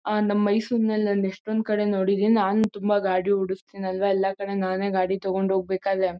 ಆ ನಮ ಮೈಸೂರಿ ನಲ್ಲಿ ನಾನ್ ಎಷ್ಟೊಂದ್ ಕಡೆ ನೋಡಿದೀನಿ ನನ್ ತುಂಬಾ ಗಾಡಿ ಹೊಡ್ಸ್ತೀನಿ ಅಲ್ವ ಎಲ್ಲ ಕಡೆ ನಾನೆ ಗಾಡಿ ತಗೊಂಡ್ ಹೋಗ್ಬೇಕಾದ್ರೆ--